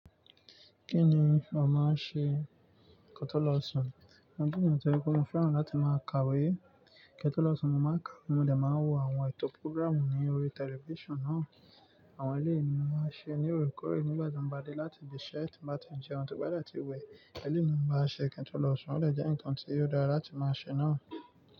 Kí ni ò máa ń ṣe ko to lọ̀ọṣun? Ni je yan tí ó yẹ kó máa fẹ́ràn láti máa kàwé. Ketọ́lọ̀ọṣun mo máa ń kàwé mo le máa wo àwọn ètò púrọ́gràmù ní orí tẹlifísàn náà. Àwọn ilé mi máa ń ṣe ní orekórè nígbà tí mo bá dé láti ibi ìṣẹ́ tí n bá ti ń jẹun tọ ba de tí wẹ́. Eléyi mi ń bá ṣe kintọ́lọ̀ọṣun ó de jẹ́ ǹkan tí ó dára láti máa ṣe náà.